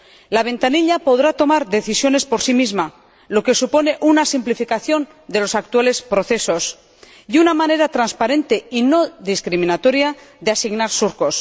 La ventanilla podrá tomar decisiones por sí misma, lo que supone una simplificación de los actuales procesos y una manera transparente y no discriminatoria de asignar surcos.